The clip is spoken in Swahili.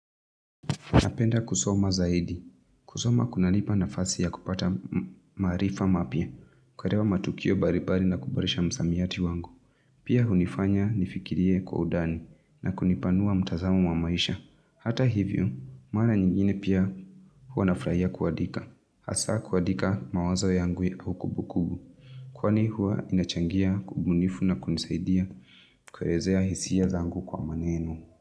Napenda kusoma zaidi. Kusoma kunanipa nafasi ya kupata maarifa mapya. Kuerewa matukio baribari na kuboresha msamiati wangu. Pia hunifanya nifikirie kwa udani na kunipanua mtazamo wa maisha. Hata hivyo, maana nyingine pia hua na furahia kuadika. Asa kuadika mawazao yangu ya ukubukubu. Kwani hua inachangia kubunifu na kunisaidia kuerezea hisia zangu kwa maneno.